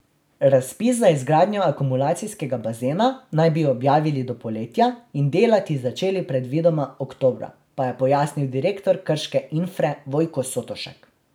Razpis za izgradnjo akumulacijskega bazena naj bi objavili do poletja in delati začeli predvidoma oktobra, pa je pojasnil direktor krške Infre Vojko Sotošek.